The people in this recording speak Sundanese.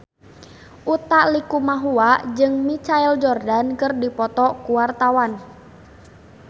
Utha Likumahua jeung Michael Jordan keur dipoto ku wartawan